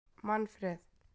Manfreð